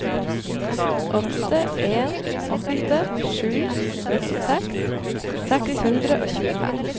åtte en åtte sju nittiseks seks hundre og tjuefem